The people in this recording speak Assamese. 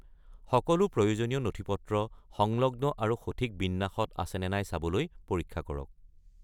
সকলো প্ৰয়োজনীয় নথিপত্ৰ সংলগ্ন আৰু সঠিক বিন্যাসত আছে নে নাই চাবলৈ পৰীক্ষা কৰক।